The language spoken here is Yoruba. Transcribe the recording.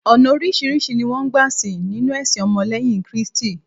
ọnà orisirisi ni won gba sìn ninu ẹsìn ọmọ leyin kristi